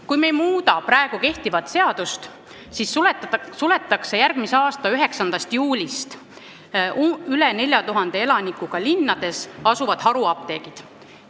Kui me ei muuda praegu kehtivat seadust, siis suletakse järgmise aasta 9. juunist üle 4000 elanikuga linnades asuvad haruapteegid.